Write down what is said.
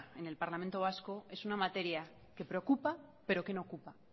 en el parlamento vasco es una materia que preocupa pero que no ocupa